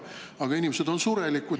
Aga inimesed on surelikud.